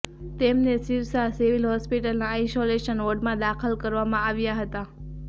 તેમને સિરસા સિવિલ હોસ્પિટલના આઇસોલેશન વોર્ડમાં દાખલ કરવામાં આવ્યા હતા